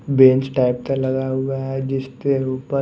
bench type का लगा हुआ है जिसके ऊपर--